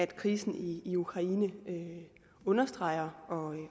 krisen i i ukraine understreger